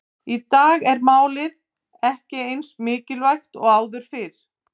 Í dag er málið ekki eins mikilvægt og áður fyrr.